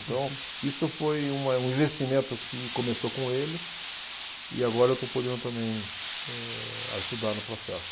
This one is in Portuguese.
Então, isso foi um, é investimento que começou com ele e agora eu estou podendo também, eh, ajudar no processo.